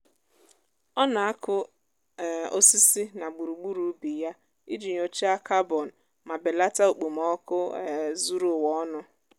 ọ na-akụ um osisi na gburugburu ubi ya iji nyochaa carbon ma belata okpomọkụ um zuru ụwa ọnụ.